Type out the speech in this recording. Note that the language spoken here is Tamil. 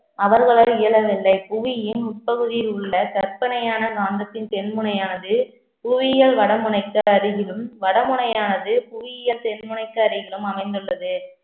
அவர்களால் இயலவில்லை புவியின் உட்பகுதியில் உள்ள, கற்பனையான காந்தத்தின் தென் முனையானது புவியியல் வடமுனைக்கு அருகிலும், வடமுனையானது புவியியல் தென் முனைக்கு அருகிலும் அமைந்துள்ளது